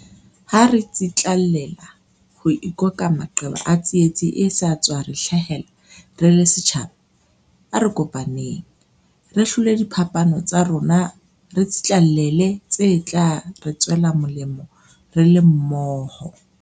Ha re tsitlallela ho ikoka maqeba a tsietsi e sa tswa re hlahela re le setjhaba, a re kopaneng. Re hlole diphapano tsa rona re tsitlallele tse tla re tswela molemo re le mmoho.